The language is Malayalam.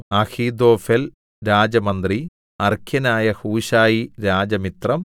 അഹീഥോഫെൽ രാജമന്ത്രി അർഖ്യനായ ഹൂശായി രാജമിത്രം